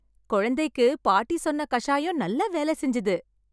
குழந்தைக்கு பாட்டி சொன்ன கசாயம் நல்லா வேலை செஞ்சுது.